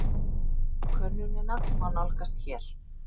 Könnunina má nálgast hér